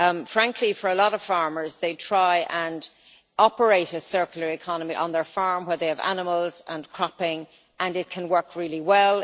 Frankly, for a lot a farmers, they try to operate a circular economy on their farm where they have animals and cropping, and it can work really well.